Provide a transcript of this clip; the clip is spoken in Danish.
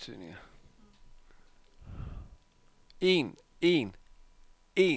en en en